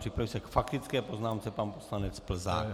Připraví se k faktické poznámce pan poslanec Plzák.